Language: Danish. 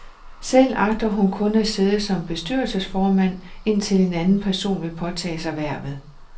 Selv agter hun kun at sidde som bestyrelsesformand, indtil en anden person vil påtage sig hvervet.